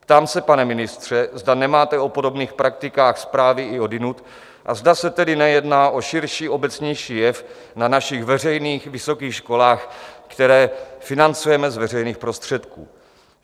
Ptám se, pane ministře, zda nemáte o podobných praktikách zprávy i odjinud a zda se tedy nejedná o širší, obecnější jev na našich veřejných vysokých školách, které financujeme z veřejných prostředků.